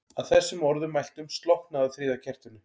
Að þessum orðum mæltum slokknaði á þriðja kertinu.